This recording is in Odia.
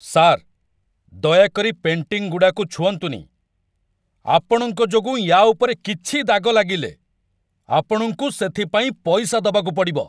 ସାର୍, ଦୟାକରି ପେଣ୍ଟିଂଗୁଡ଼ାକୁ ଛୁଅଁନ୍ତୁନି! ଆପଣଙ୍କ ଯୋଗୁଁ ୟା' ଉପରେ କିଛି ଦାଗ ଲାଗିଲେ, ଆପଣଙ୍କୁ ସେଥିପାଇଁ ପଇସା ଦବାକୁ ପଡ଼ିବ ।